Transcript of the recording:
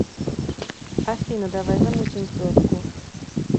афина давай замутим в дотку